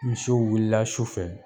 Misiw wulila su fɛ